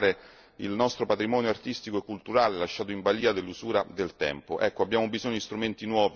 C'è bisogno urgente di tutelare il nostro patrimonio artistico e culturale lasciato in balia dell'usura del tempo.